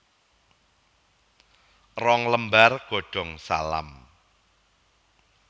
Rong lembar godong salam